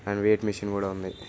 and weight machine కూడా ఉంది